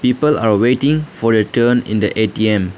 people are waiting for a turn in the A_T_M.